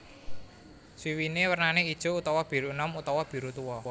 Swiwiné wernané ijo utawa biru enom utawa biru tuwa